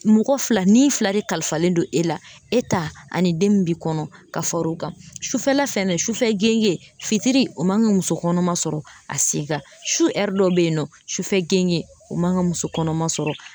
Mɔgɔ fila ni fila de kalifalen don e la e ta ani den min b'i kɔnɔ ka far'o kan sufɛla fɛ sufɛ gende fitiri o man ga kamuso kɔnɔma sɔrɔ a se kan su ɛri dɔ be yen nɔ sufɛ genge o man ka muso kɔnɔma sɔrɔ